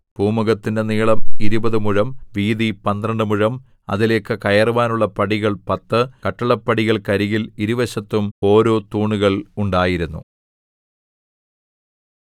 പൂമുഖത്തിന്റെ നീളം ഇരുപതു മുഴം വീതി പന്ത്രണ്ട് മുഴം അതിലേക്ക് കയറുവാനുള്ള പടികൾ പത്ത് കട്ടിളപ്പടികൾക്കരികിൽ ഇരുവശത്തും ഓരോ തൂണുകൾ ഉണ്ടായിരുന്നു